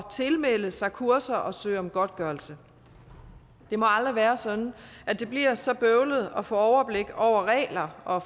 tilmelde sig kurser og søge om godtgørelse det må aldrig være sådan at det bliver så bøvlet at få overblik over regler og